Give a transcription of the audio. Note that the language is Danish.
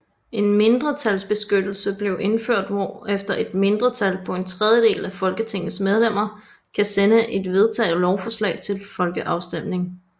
En mindretalsbeskyttelse blev indført hvorefter et mindretal på en tredjedel af Folketingets medlemmer kan sende et vedtaget lovforslag til folkeafstemning